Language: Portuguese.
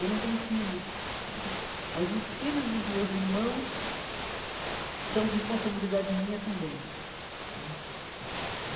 Eu não tenho filhos né, mas os filhos dos meus irmãos são responsabilidade minha também né.